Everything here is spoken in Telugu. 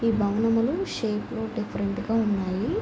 ఈ భవనములు షేప్ డిఫరెంట్ గ ఉన్నాయి.